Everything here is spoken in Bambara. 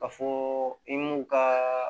Ka fɔ i m'u ka